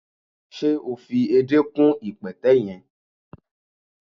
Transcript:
Se o fi èdé kún ipẹtẹ yẹn?